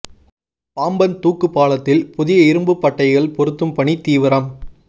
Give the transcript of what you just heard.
பாம்பன் தூக்குப் பாலத்தில் புதிய இரும்பு பட்டைகள் பொருத்தும் பணி தீவிரம்